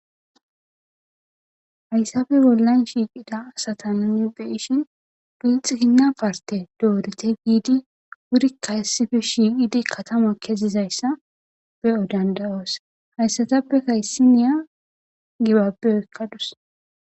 hayssafe bollan shiiqida asatananibe ishin pilxikinna parte doorete giidi wurikka hissife shiiqidi katamo kezizayssa be7o dandayoos hayssatappe kayssiniya gibapbe ekkadus